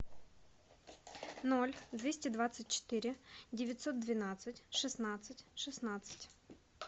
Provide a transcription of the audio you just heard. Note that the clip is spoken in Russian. ноль двести двадцать четыре девятьсот двенадцать шестнадцать шестнадцать